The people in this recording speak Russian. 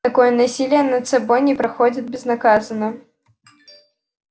такое насилие над собой не проходит безнаказанно